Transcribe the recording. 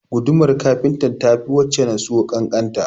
Gudumar kafintan ta fi wacce na siyo ƙanƙanta